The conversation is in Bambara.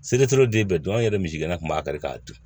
den bɛɛ dun an yɛrɛ misigɛn kun b'a kari k'a dun